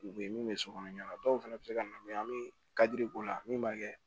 U bɛ min bɛ sokɔnɔ ɲɛna dɔw fana bɛ se ka na an bɛ kadi k'o la min b'a kɛ